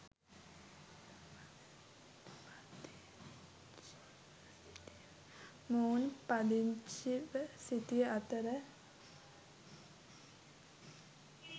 මොවුන් පදිංචිව සිටි අතර